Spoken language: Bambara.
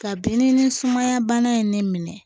Kabini nin sumaya bana in ne minɛ